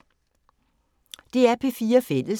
DR P4 Fælles